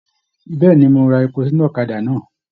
Bẹẹni, mo rà èpò sínú ọ̀kàdà náà.